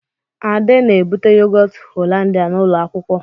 Ade na-ebute yogọt Hollandia n'ụlọ akwụkwọ.